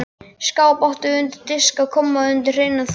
Skáp áttum við undir diska og kommóðu undir hreinan þvott.